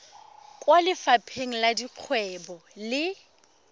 kwa lefapheng la dikgwebo le